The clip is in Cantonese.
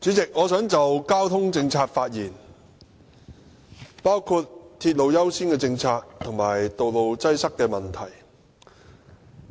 主席，我想就交通政策發言，包括鐵路優先政策和道路擠塞問題。